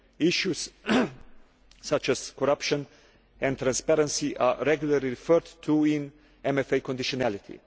Issues such as corruption and transparency are regularly referred to in MFA conditionality.